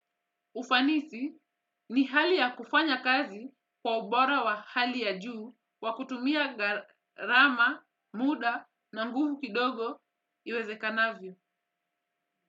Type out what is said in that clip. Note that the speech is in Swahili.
Ufanisi ni hali ya kufanya kazi kwa ubora wa hali ya juu kwa kutumia garama, muda na nguvu kidogo iweze kanavyo.